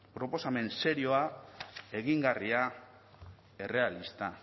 proposamen serioa egingarria errealista